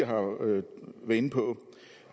har været inde på